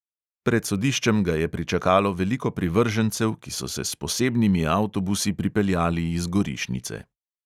Pred sodiščem ga je pričakalo veliko privržencev, ki so se s posebnimi avtobusi pripeljali iz gorišnice.